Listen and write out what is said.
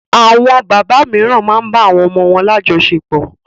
Àwọn bàbá mìíràn máa ń bá àwọn ọmọ wọn lájọsepọ̀.